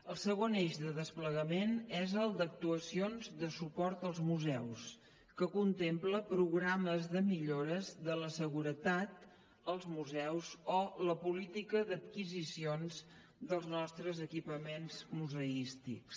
el segon eix de desplegament és el d’actuacions de suport als museus que contempla programes de millores de la seguretat als museus o la política d’adquisicions dels nostres equipaments museístics